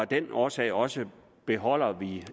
den årsag årsag beholder vi